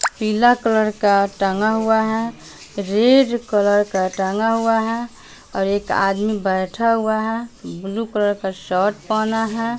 पीला कलर का टांगा हुआ है रेड कलर का टांगा हुआ है और एक आदमी बैठा हुआ है ब्लू कलर का शर्ट पहना हैं।